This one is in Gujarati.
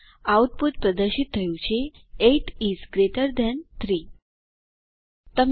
આઉટપુટ પ્રદર્શિત થયું છે 8 ઇસ ગ્રેટર થાન 3